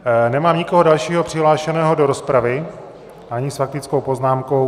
Nemám nikoho dalšího přihlášeného do rozpravy, ani s faktickou poznámkou.